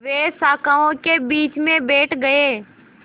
वे शाखाओं के बीच में बैठ गए